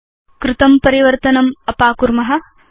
अस्माभि कृतं परिवर्तनम् अपाकुर्म